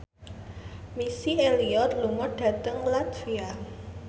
Missy Elliott lunga dhateng latvia